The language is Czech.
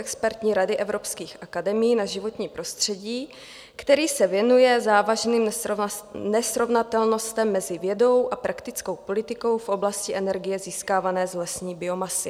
Expertní rady evropských akademií na životní prostředí, který se věnuje závažným nesrovnatelnostem mezi vědou a praktickou politikou v oblasti energie získávané z lesní biomasy.